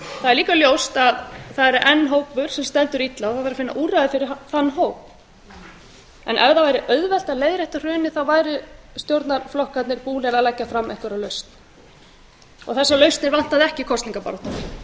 það er líka ljóst að það er enn hópur sem stendur illa og það þarf að finna úrræði fyrir þann hóp ef það væri auðvelt að leiðrétta hrunið væru stjórnarflokkarnir búnir að leggja fram einhverja lausn þessar lausnir vantaði ekki í kosningabaráttunni en